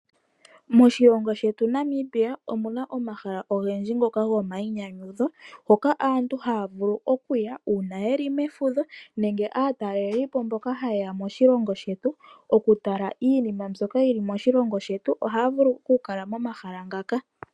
Moshilongo shetu Namibia omuna omahala ogendji ngoka gomainyanyudho, hoka aantu ha ya vulu okuya uuna ye li mefudho nenge aatalelipo mboka ha yeya moshilongo shetu. Oku tala iinima mbyoka yi li moshilongo shetu, oha ya vulu oku kala momahala ngaka.